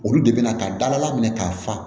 Olu de bɛna ka dala minɛ k'a fa